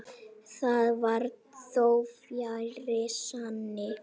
Það var þó fjarri sanni.